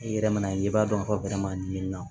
I yɛrɛ mana ye i b'a dɔn bɛrɛma ɲi na